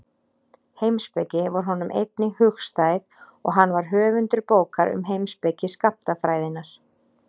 Heimspeki var honum einnig hugstæð og hann var höfundur bókar um heimspeki skammtafræðinnar.